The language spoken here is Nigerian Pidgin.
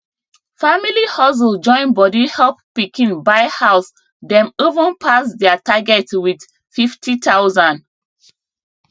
family hustle join body help pikin buy house dem even pass their target with 50000